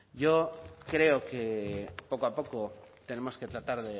yo creo que poco a poco tenemos que tratar